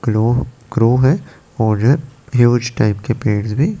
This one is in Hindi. क्लो क्रो है और हियूज के पेज भी--